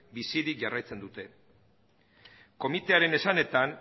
bizirik jarraitzen dute komitearen esanetan